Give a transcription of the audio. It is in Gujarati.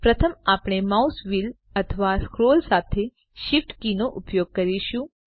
પ્રથમ આપણે માઉસ વ્હીલ અથવા સ્ક્રોલ સાથે Shift કી નો ઉપયોગ કરીશું